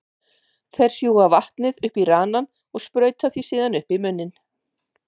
Þeir sjúga vatnið upp í ranann og sprauta því síðan upp í munninn.